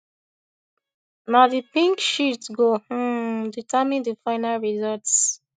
na di pink sheet go um determine di final results